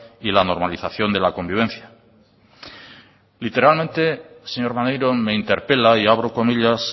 y la normalización de la convivencia literalmente señor maneiro me interpela y abro comillas